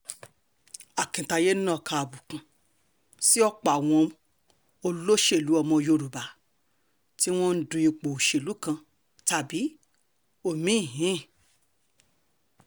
akintaye nàka àbùkù sí ọ̀pọ̀ àwọn olóṣèlú ọmọ yorùbá tí wọ́n ń du ipò òṣèlú kan tàbí omi-ín